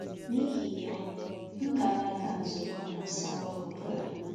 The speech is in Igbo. N'ihi ya, m na-aga nzukọ na Sunday ọ bụla.